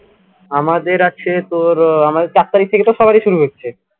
আমাদের আছে তোর উহ আমাদের চার তারিখ থেকে তো সবারই শুরু হচ্ছে